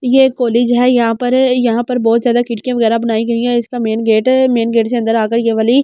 यह एक कॉलेज हैं यहाँ पर अ यहाँ पर बहुत ज़्यादा खिड़कियां वगैरा बनाई गई है इसका मैन गेट अ मैन गेट से अंदर आ कर यह वाली --